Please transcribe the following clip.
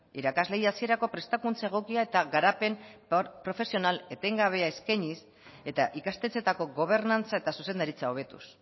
irakasleei hasierako prestakuntza egokia eta garapen profesional etengabea eskainiz eta ikastetxeetako gobernantza eta zuzendaritza hobetuz